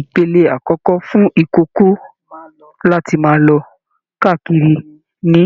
Ìpele akọkọ fún ikòkò láti máa lọ káàkiri ní